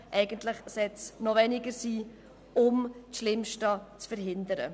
Eigentlich sollte es weniger sein, um das Schlimmste zu verhindern.